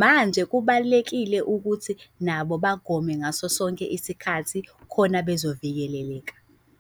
Manje kubalulekile ukuthi nabo bagome ngaso sonke isikhathi khona bezovikeleleka.